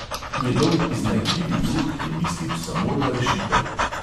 Njegov iznajdljivi duh je mislil samo na rešitev.